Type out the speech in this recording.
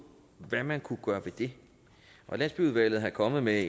hvad man kunne gøre ved det og landsbyudvalget er kommet med